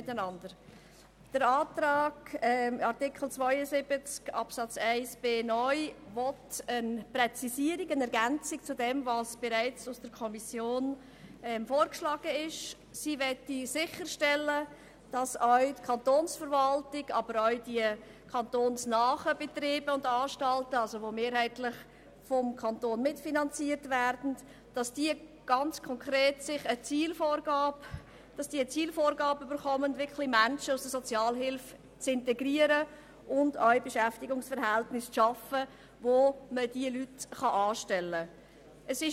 Mit dem Antrag zu Artikel 72 Absatz 1, der neu eine Präzisierung beziehungsweise eine Ergänzung zu dem vorsieht, was bereits von der Kommission vorgeschlagen wurde, soll sichergestellt werden, dass die Kantonsverwaltung, aber auch die kantonsnahen Betriebe und Anstalten, die mehrheitlich vom Kanton mitfinanziert werden, konkret eine Zielvorgabe erhalten, Menschen aus der Sozialhilfe zu integrieren und auch Beschäftigungsverhältnisse zu schaffen, unter welchen man diese Menschen anstellen kann.